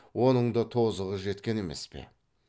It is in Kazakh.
оның да тозығы жеткен емес пе